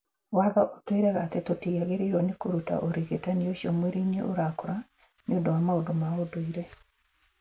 Watho ũtwĩraga atĩ tũtiagĩrĩirũo nĩ kũruta ũrigitani ũcio mwĩrĩ-inĩ ũrakũra nĩ ũndũ wa maũndũ ma ũndũire.